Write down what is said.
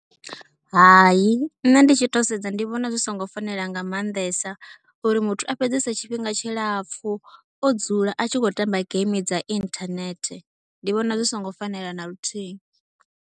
Hai nṋe ndi tshi tou sedza ndi vhona zwi songo fanela nga maanḓesa uri muthu a fhedzese tshifhinga tshilapfhu o dzula a tshi khou tamba geimi dza inthanethe. Ndi vhona zwi songo fanela na luthihi.